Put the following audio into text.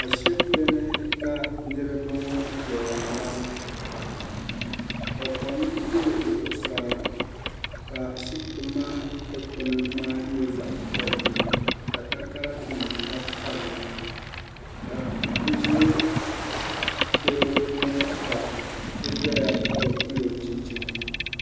ashibiti ni ka niraba ŋɔ ʒɛya ŋɔ ka kom yiri zuɣusaa ka ashibiti maa dikpuni maa nyɛ zaɣ piɛlli ka takara nim tabi tabili ka bi ʒɛ gɛro gbuni ka so doya ka bi pilo chinchini